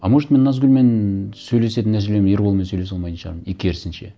а может мен назгүлмен сөйлесетін нәрселерім ерболмен сөйлесе алмайтын шығармын и керісінше